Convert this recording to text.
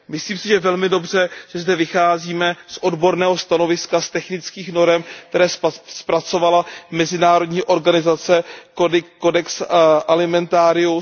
Myslím si, že je velmi dobře, že zde vycházíme z odborného stanoviska, z technických norem, které zpracovala mezinárodní organizace Codex Alimentarius.